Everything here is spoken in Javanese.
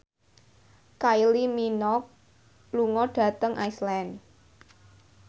Kylie Minogue lunga dhateng Iceland